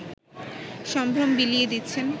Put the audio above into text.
সম্ভ্রম বিলিয়ে দিচ্ছেন